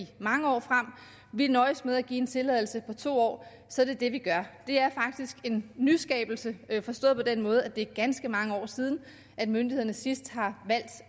mange år frem nøjes med at give en tilladelse for to år det er faktisk en nyskabelse forstået på den måde at det er ganske mange år siden at myndighederne sidst har valgt